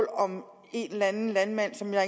om en eller anden landmand som jeg